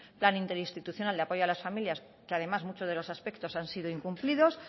plan interinstitucional de apoyo a las familias que además muchos de los aspectos han sido incumplidos